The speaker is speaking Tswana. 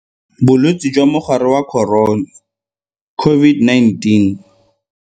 Bolwetse jwa Mogare wa Corona COVID-19.